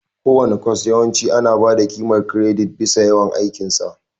Kowane kwas yawanci ana ba da ƙimar kiredit bisa yawan aikin sa.